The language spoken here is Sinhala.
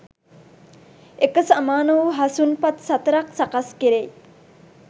එක සමාන වූ හසුන් පත් සතරක් සකස් කෙරෙයි.